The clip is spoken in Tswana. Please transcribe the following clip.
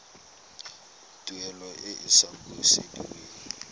tuelo e e sa busediweng